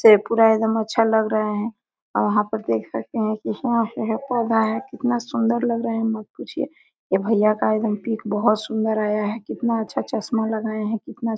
से पूरा एकदम अच्छा लग रहा है वहां पे देख सकते है की पौधा है कितना सुन्दर लग रहा है मत पूछिए ये भैया का एकदम पिक बहुत सुन्दर आया है कितना अच्छा चस्मा लगाया है। कितना --